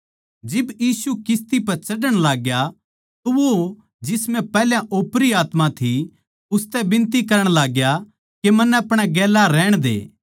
जिब यीशु किस्ती पै चढ़ण लागग्या तो वो जिस म्ह पैहल्या ओपरी आत्मा थी उसतै बिनती करण लाग्या के मन्नै अपणे गेल्या रहण दे